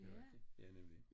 Det rigtig ja nemlig